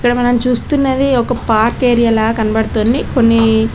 ఇక్కడ మనం చూస్తున్నది ఒక పార్క్ ఏరియాల కనబడుతుంది కొన్ని --